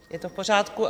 Je to v pořádku?